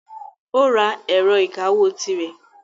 Ó ra ẹ̀rọ ìkawó tirẹ̀.